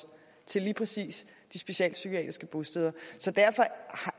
til lige præcis de socialpsykiatriske bosteder og derfor